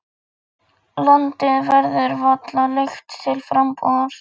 Landið verður varla leigt til frambúðar.